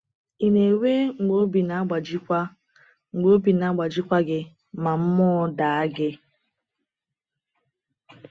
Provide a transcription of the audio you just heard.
Ị na-enwe mgbe obi na-agbajikwa mgbe obi na-agbajikwa gị ma mmụọ daa gị?